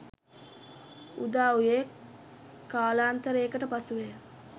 උදා වූයේ කාලාන්තරයකට පසු වය.